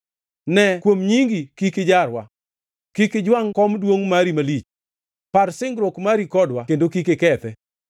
Ne kuom nyingi kik ijarwa; kik ijwangʼ kom duongʼ mari malich. Par singruok mari kodwa kendo kik ikethe.